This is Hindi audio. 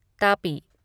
तापी